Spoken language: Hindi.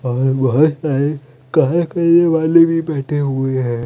और बहोत सारे करने वाले भी बेठे हुए है।